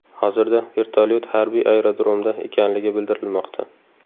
Hozirda vertolyot harbiy aerodromda ekanligi bildirilmoqda.